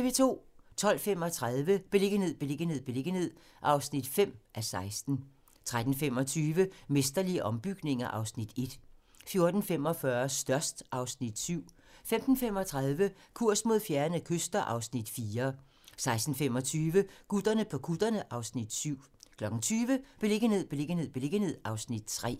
12:35: Beliggenhed, beliggenhed, beliggenhed (5:16) 13:25: Mesterlige ombygninger (Afs. 1) 14:45: Størst (Afs. 7) 15:35: Kurs mod fjerne kyster (Afs. 4) 16:25: Gutterne på kutterne (Afs. 7) 20:00: Beliggenhed, beliggenhed, beliggenhed (Afs. 3)